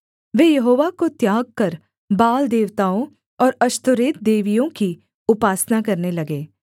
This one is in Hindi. वे यहोवा को त्याग कर बाल देवताओं और अश्तोरेत देवियों की उपासना करने लगे